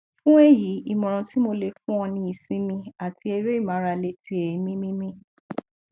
fun eyi imoran ti mo le fun o ni isinmi ati ere imarale ti eemi mimi